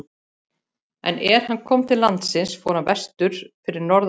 En er hann kom til landsins fór hann vestur fyrir norðan landið.